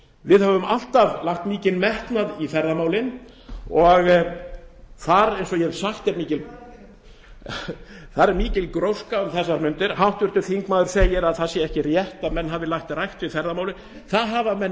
við höfum alltaf lagt mikinn metnað í ferðamálin og þar eins og ég hef sagt er mikil það er ekki rétt gróska um þessar mundir háttvirtur þingmaður segir að það sé ekki rétt að menn hafi lagt rækt við ferðamálin það hafa menn